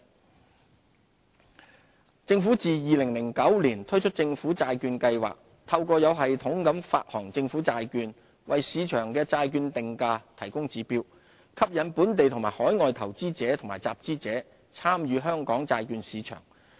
本地債券市場政府自2009年推出政府債券計劃，透過有系統地發行政府債券，為市場的債券定價提供指標，吸引本地和海外投資者及集資者參與香港債券市場。